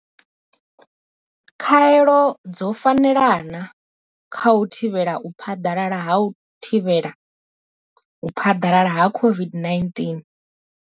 Khaelo dzo fanela na? kha u thivhela u phaḓalala ha u thivhela u phaḓalala ha COVID-19.